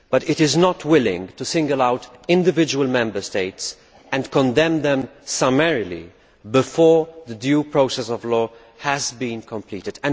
However, it is not willing to single out individual Member States and condemn them summarily before the due process of law has been completed.